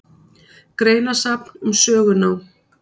Greinasafn um sögunám.